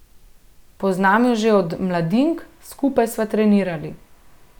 Poznam jo že od mladink, skupaj sva trenirali.